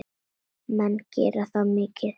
Menn gera það mikið.